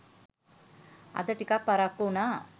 අද ටිකක් පරක්කු උනා